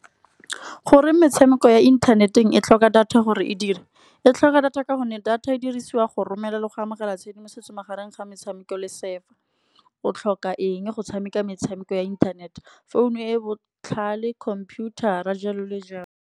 Goreng metshameko ya internet-eng e tlhoka data gore e dire, e tlhoka data ka gonne data e dirisiwa go romela le go amogela tshedimosetso, magareng ga metshameko le server. O tlhoka eng go tshameka metshameko ya inthanete phone-u e botlhale, computer a jalo le jalo.